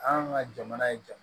An ka jamana ye jamana